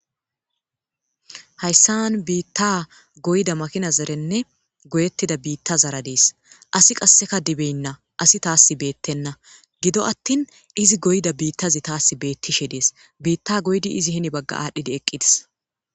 hayssan biitta goyda makina zerenne goyettida biitta zara dies asi qasseka dibeynna asi taas beettenna gido attin izi goyda biittazi taas beettishe dees biitta goydi izi hini bagga aadhdhidi eqqidis